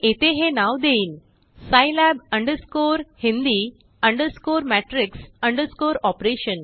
मी येथे हेनाव देईनscilab hindi matrix operation